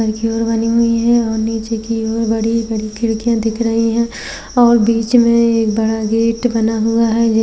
की ओर बनी हुई है और नीचे की ओर बड़ी-बड़ी खिड़कियां दिख रही हैं और बीच में एक बड़ा गेट बना हुआ है जी --